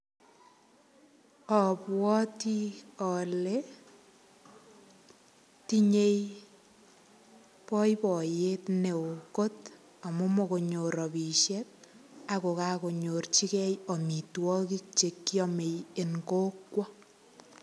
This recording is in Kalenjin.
Abwoti ale tinyei boiboiyet neo kot, amu mogonyor rapisiek ak kogakonyorchigei amitwogik che kiame eng kokwo.